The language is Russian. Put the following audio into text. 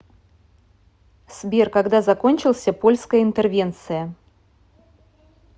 сбер когда закончился польская интервенция